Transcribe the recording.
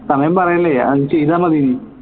സമയം പറയല്ലേ അത് ചെയ്താ മതി